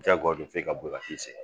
Diyagoya don fɔ e ka boli ka t'i senna.